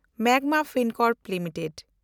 Magma Fincorp limited